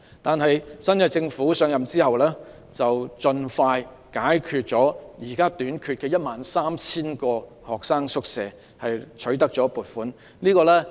但是，現屆政府上任後，盡快取得了撥款並解決了現時短缺的 13,000 個學生宿位問題。